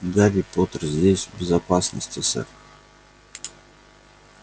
гарри поттер здесь в безопасности сэр